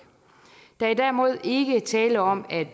der er derimod ikke tale om at